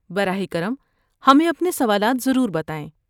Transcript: براہ کرم، ہمیں اپنے سوالات ضرور بتائیں۔